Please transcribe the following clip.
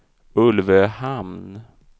Ulvöhamn